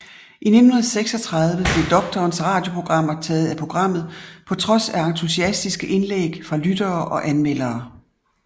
I 1936 blev Doktorens radioprogrammer taget af programmet på trods af entusiastiske indlæg fra lyttere og anmeldere